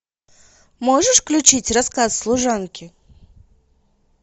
можешь включить рассказ служанки